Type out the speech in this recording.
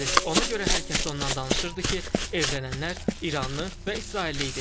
Ona görə hər kəs ondan danışırdı ki, evlənənlər İranlı və İsrailli idi.